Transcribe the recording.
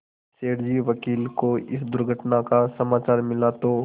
सेठ जी वकील को इस दुर्घटना का समाचार मिला तो